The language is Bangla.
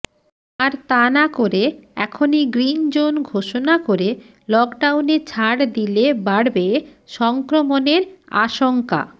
আর তা না করে এখনই গ্রিনজোন ঘোষণা করে লকডাউনে ছাড় দিলে বাড়বে সংক্রমণের আশঙ্কা